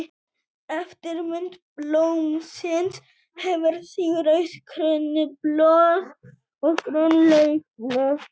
Eftirmynd blómsins hefur því rauð krónublöð og græn laufblöð.